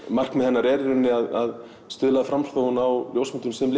markmið hennar er í rauninni að styðja framþróun á ljósmyndum sem